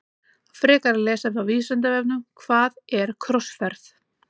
Frekara lesefni á Vísindavefnum Hvað er krossferð?